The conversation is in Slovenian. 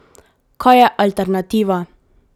Kaj je alternativa?